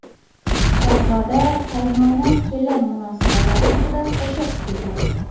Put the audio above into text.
Shahzoda qaynona-kelin munosabatlari haqida qo‘shiq kuyladi.